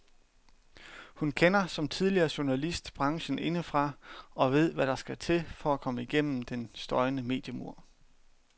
Hun kender, som tidligere journalist, branchen indefra og ved hvad der skal til for at komme gennem den støjende mediemur.